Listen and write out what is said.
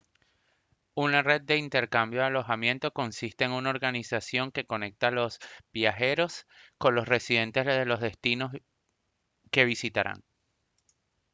una red de intercambio de alojamiento consiste en una organización que conecta a los viajeros con los residentes de los destinos que visitarán